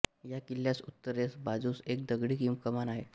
या किल्ल्यास उत्तरेच्या बाजुस एक दगडी कमान आहे